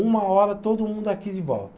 Uma hora todo mundo aqui de volta.